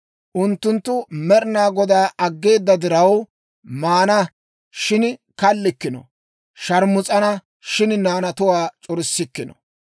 Unttunttu Med'inaa Godaa aggeeda diraw, maana, shin kallikkino; shaarmus'ana, shin naanatuwaa c'orissikkino.